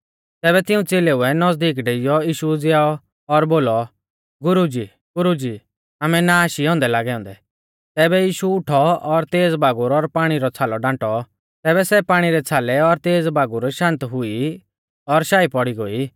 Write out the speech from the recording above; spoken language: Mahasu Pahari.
तैबै तिऊं च़ेलेउऐ नज़दीक डेइयौ यीशु उज़ीयाऔ और बोलौ गुरुजीगुरुजी आमै नाश ई औन्दै लागौ औन्दै तैबै यीशु उठौ और तेज़ बागुर और पाणी रौ छ़ालौ डांटौ तैबै सै पाणी रै छ़ालै और तेज़ बागुर शान्त हुई और शाई पौड़ी गोई